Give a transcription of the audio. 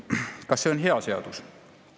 Kas see on hea seadus?